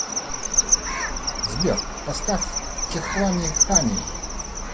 сбер поставь кехлани хани